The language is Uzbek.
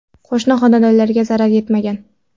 Qo‘shni xonadonlarga zarar yetmagan.